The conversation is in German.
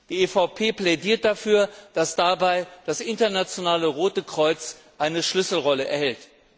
Die EVP plädiert dafür, dass dabei das Internationale Rote Kreuz eine Schlüsselrolle erhält.